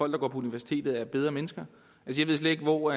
der går på universitetet er bedre mennesker jeg ved slet ikke hvor